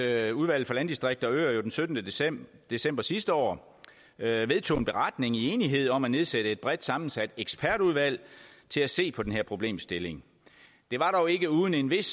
at udvalget for landdistrikter og øer jo den syttende december december sidste år vedtog en beretning i enighed om at nedsætte et bredt sammensat ekspertudvalg til at se på den her problemstilling det var dog ikke uden en vis